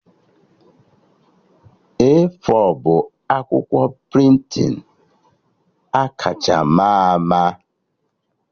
A4 bụ akwụkwọ prịntịn akacha ma ama